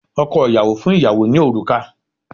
Ọkọ ìyàwó fún ìyàwó ní òrùka